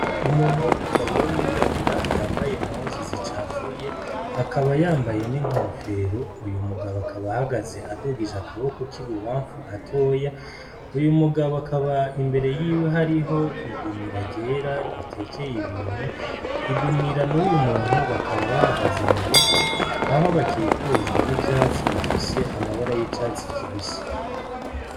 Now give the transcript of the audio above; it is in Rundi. Umuntu aw'umugabo wo mwirabura yambaye nkozu zicapfuye akaba yambaye n'inkofero uyu mugabo akabahagaze adugije akaboko k'ibubamfu gatoya uyu mugabo akaba imbere yiwe hariho igunira rera ritekeye ibintu igunira n'uyu muntu bakaba bahagaze mu bivu aho bakikujwe n'ivyatsi bifishe amabara y'icatsi kibisi.